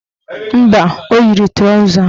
Mba, o yiri trọza